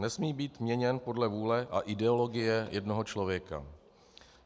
Nesmí být měněn podle vůle a ideologie jednoho člověka.